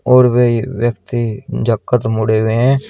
और वह व्यक्ति जा के मुड़े हुए हैं।